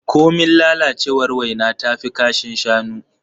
Komin lalacewar waina tafi kashin shanu.